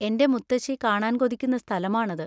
എന്‍റെ മുത്തശ്ശി കാണാന്‍ കൊതിക്കുന്ന സ്ഥലമാണത്.